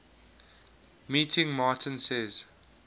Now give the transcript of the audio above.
meeting martin says